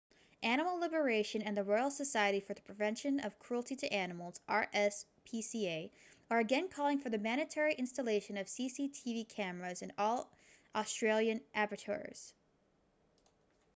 animal liberation and the royal society for the prevention of cruelty to animals rspca are again calling for the mandatory installation of cctv cameras in all australian abattoirs